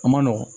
A man nɔgɔn